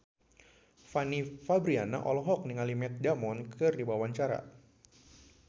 Fanny Fabriana olohok ningali Matt Damon keur diwawancara